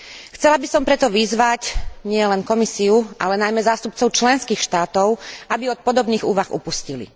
Chcela by som preto vyzvať nielen Komisiu, ale najmä zástupcov členských štátov, aby od podobných úvah upustili.